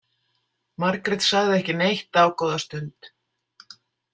Margrét sagði ekki neitt dágóða stund.